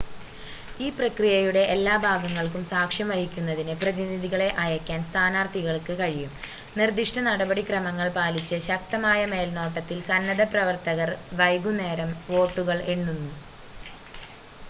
ഈ പ്രക്രിയയുടെ എല്ലാ ഭാഗങ്ങൾക്കും സാക്ഷ്യം വഹിക്കുന്നതിന് പ്രതിനിധികളെ അയക്കാൻ സ്ഥാനാർത്ഥികൾക്ക് കഴിയും നിർദ്ദിഷ്ട നടപടി ക്രമങ്ങൾ പാലിച്ച് ശക്തമായ മേൽനോട്ടത്തിൽ സന്നദ്ധ പ്രവർത്തകർ വൈകുന്നേരം വോട്ടുകൾ എണ്ണുന്നു